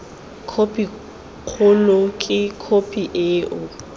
khophi kgolo ke khophi eo